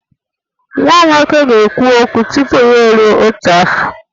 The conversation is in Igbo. Nwa m nwoke ga-ekwu okwu tupu ya eruo otu afọ